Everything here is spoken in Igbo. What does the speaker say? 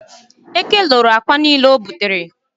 Eke loro akwa niile anyị butere.